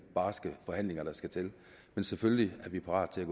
barske forhandlinger der skal til men selvfølgelig er vi parate